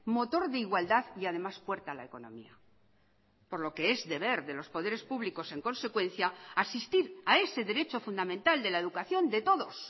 motor de igualdad y además puerta a la economía por lo que es deber de los poderes públicos en consecuencia asistir a ese derecho fundamental de la educación de todos